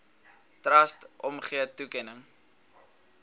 trust omgee toekenning